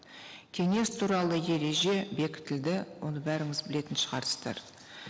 кеңес туралы ереже бекітілді оны бәріңіз білетін шығарсыздар